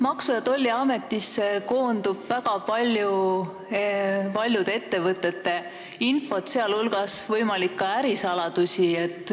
Maksu- ja Tolliametisse koondub väga paljude ettevõtete infot, sh ka ärisaladusi.